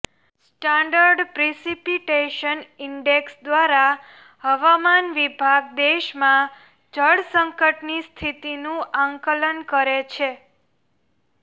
standard precipitation index દ્વારા હવામાન વિભાગ દેશમાં જળ સંકટની સ્થિતિનું આંકલન કરે છે